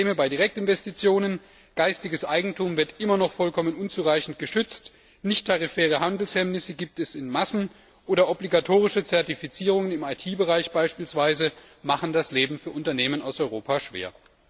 Es gibt Probleme bei Direktinvestitionen geistiges Eigentum wird immer noch vollkommen unzureichend geschützt, nichttarifäre Handelshemmnisse gibt es in Massen, oder obligatorische Zertifizierungen beispielsweise im IT Bereich machen das Leben für Unternehmen aus Europa schwer.